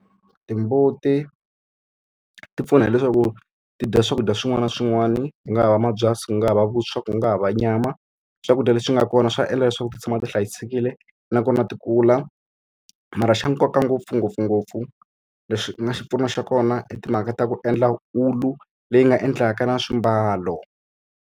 Timbuti ti pfuna hileswaku ti dya swakudya swin'wana na swin'wana, ku nga ha va mabyasi, u nga ha va vuswa, ku nga ha va nyama. Swakudya leswi nga kona swa endla leswaku ti tshama ti hlayisekile, nakona ti kula. Mara xa nkoka ngopfu ngopfungopfu leswi nga xipfuno xa kona i timhaka ta ku endla wulu, leyi nga endlaka na swimbalo.